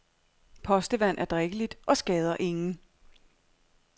Postevand er drikkeligt og skader ingen.